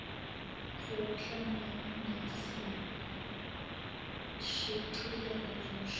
sekuhlangene nezishicilelo zomshini